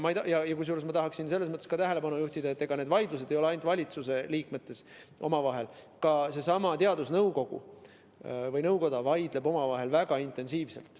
Ma tahaksin tähelepanu juhtida, et ega need vaidlused ei ole ainult valitsuse liikmetel omavahel, ka teadusnõukoda vaidleb omavahel väga intensiivselt.